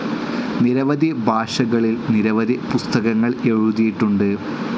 നിരവധി ഭാഷകളിൽ നിരവധി പുസ്തകങ്ങൾ എഴുതിയിട്ടുണ്ട്.